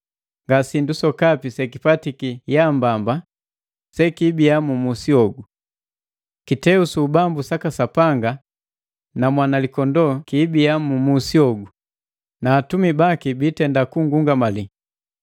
Nga sindu sokapi sekipatiki yaambamba sekiibia mu musi hogu. Kiteu su ubambu saka Sapanga na Mwanalikondoo kiibia mu musi hogu, na atumisi baki biitenda kungungamali.